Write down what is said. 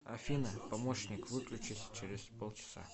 афина помощник выключись через пол часа